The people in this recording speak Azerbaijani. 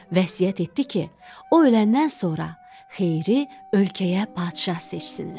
Vəsiyyət etdi ki, o öləndən sonra xeyri ölkəyə padşah seçsinlər.